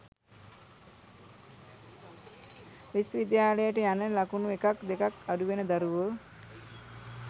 විශ්ව විද්‍යාලයට යන්න ලකුණු එකක් දෙකක් අඩුවන දරුවෝ